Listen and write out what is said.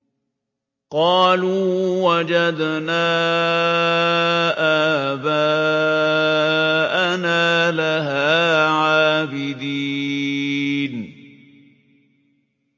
قَالُوا وَجَدْنَا آبَاءَنَا لَهَا عَابِدِينَ